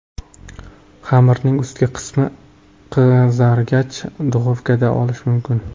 Xamirning ustki qismi qizargach, duxovkadan olish mumkin.